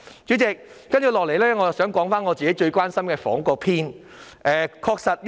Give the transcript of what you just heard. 主席，我也想談談我最關心的房屋問題。